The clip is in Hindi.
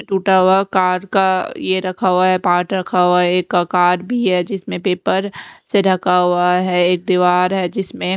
टूटा हुआ कार का यह रखा हुआ है पार्ट रखा हुआ है एक कार भी है जिसमें पेपर से ढका हुआ है एक दीवार है जिसमें --